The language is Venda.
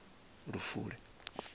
lufule